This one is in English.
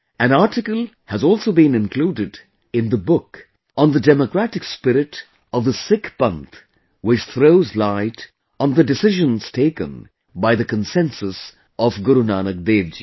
An article has also been included in the book on the democratic spirit of the Sikh Panth which throws light on the decisions taken by the consensus of Guru Nanak Dev Ji